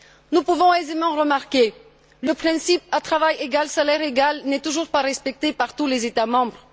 Nous pouvons aisément remarquer que le principe à travail égal, salaire égal n'est toujours pas respecté par tous les États membres.